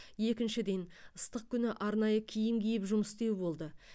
екіншіден ыстық күні арнайы киім киіп жұмыс істеу болды